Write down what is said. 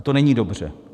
A to není dobře.